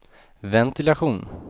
ventilation